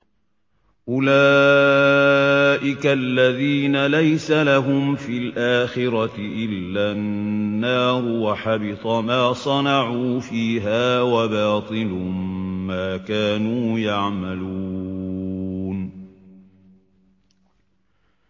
أُولَٰئِكَ الَّذِينَ لَيْسَ لَهُمْ فِي الْآخِرَةِ إِلَّا النَّارُ ۖ وَحَبِطَ مَا صَنَعُوا فِيهَا وَبَاطِلٌ مَّا كَانُوا يَعْمَلُونَ